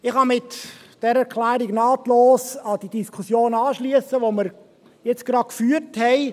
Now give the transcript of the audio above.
Ich kann mit dieser Erklärung nahtlos an die Diskussion anschliessen, die wir jetzt gerade geführt haben.